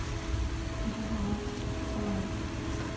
джой спа